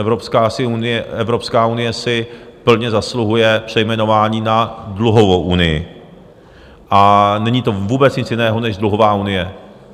Evropská unie si plně zasluhuje přejmenování na dluhovou unii a není to vůbec nic jiného než dluhová unie.